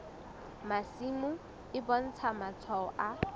masimo e bontsha matshwao a